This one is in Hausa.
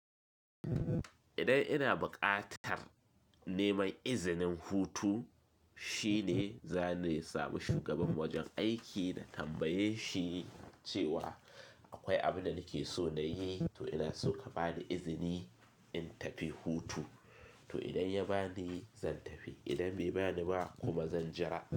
Idan ina buƙatar neman izinin hutu, shine zane samu shugaban wajen aiki na tambaye shi cewa akwai abunda nake so na yi, to ina so ka bani izini in tafi hutu. To idan ya bani zan tafi, idan bai bani ba kuma zan jira.